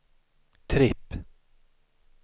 tripp